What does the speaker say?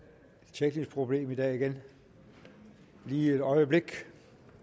teknisk problem igen i dag lige et øjeblik